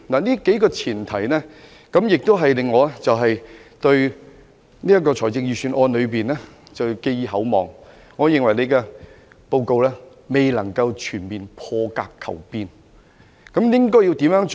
"這數項前提令我對這份預算案寄予厚望，但我認為司長的做法未能達致全面破格求變。